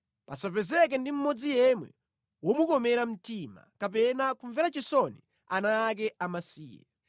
Pasapezeke ndi mmodzi yemwe womukomera mtima kapena kumvera chisoni ana ake amasiye.